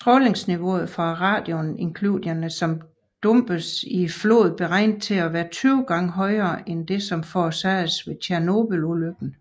Strålingsniveauet fra radionukliderne som dumpedes i floden beregnes til at være 20 gange højere end det som forårsagedes ved Tjernobylulykken